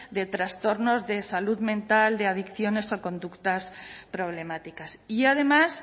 de trastornos de salud mental de adicciones o conductas problemáticas y además